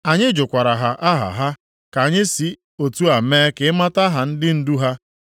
Anyị jụkwara ha aha ha, ka anyị si otu a mee ka ị mata aha ndị ndu ha.